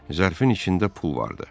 Zərfin içində pul vardı.